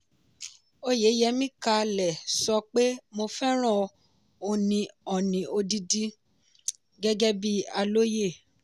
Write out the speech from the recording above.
oyeyemi ká lè sọ pé "mo fẹ́ràn oní odidi" gẹ́gẹ́ bí alóyè.